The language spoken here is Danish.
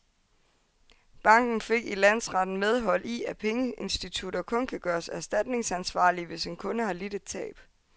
Banken fik i landsretten medhold i, at pengeinstitutter kun kan gøres erstatningsansvarlige, hvis en kunde har lidt et tab.